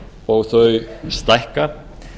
og þau stækka